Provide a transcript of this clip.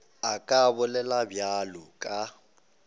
a ka bolela bjalo ka